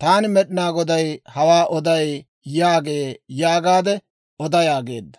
Taani Med'inaa Goday hawaa oday» yaagee› yaagaade oda» yaageedda.